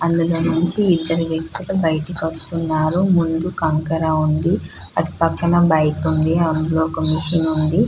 అందులో నుంచి ఇద్దరు వ్యక్తులు బయటకి వస్తున్నారు. ముందు కంకర ఉంది. అటుపక్కన బైక్ ఉంది. అందులో ఒక మిషన్ ఉంది.